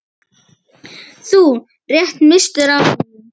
Þú rétt misstir af honum.